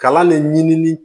Kalan le ɲinini